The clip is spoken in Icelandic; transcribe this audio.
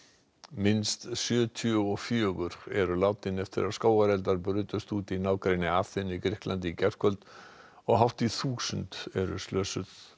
minnst sjötíu og fjögur eru látin eftir að skógareldar brutust út í nágrenni Aþenu í Grikklandi í gærkvöld og hátt í þúsund eru slösuð